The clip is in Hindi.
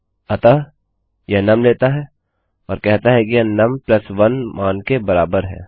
अतः यह नुम लेता है और कहता है कि यह num1 मान के बराबर है